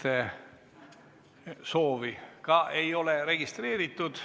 Läbirääkimiste soovi ei ole registreeritud.